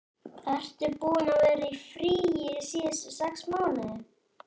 Ertu búinn að vera í fríi síðustu sex mánuði?